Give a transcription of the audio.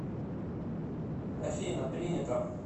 афина принято